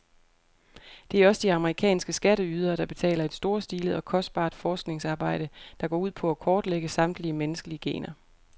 Det er også de amerikanske skatteydere, der betaler et storstilet og kostbart forskningsarbejde, der går ud på at kortlægge samtlige menneskelige gener.